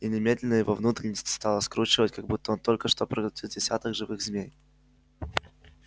и немедленно его внутренности стало скручивать как будто он только что проглотил десяток живых змей